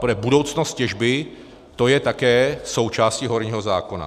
Ale budoucnost těžby, to je také součástí horního zákona.